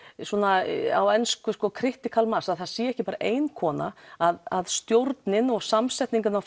svona á ensku critical mass að það sé ekki bara ein kona að stjórnin og samsetning á